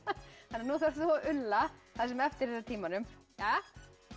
nú þarft þú að ulla það sem eftir er af tímanum